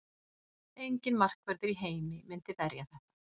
Enginn markvörður í heimi myndi verja þetta.